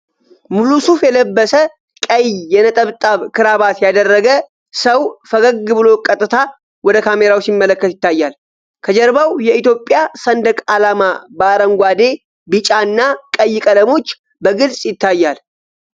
ሙሉ ሱፍ የለበሰ፣ ቀይ የነጠብጣብ ክራባት ያደረገ ሰው ፈገግ ብሎ ቀጥታ ወደ ካሜራው ሲመለከት ይታያል። ከጀርባው የኢትዮጵያ ሰንደቅ ዓላማ በአረንጓዴ፣ ቢጫ እና ቀይ ቀለሞች በግልጽ ይታያል።